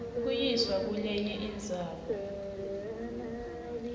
kuyiswa kulenye indzawo